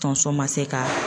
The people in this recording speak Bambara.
Tonso ma se kaa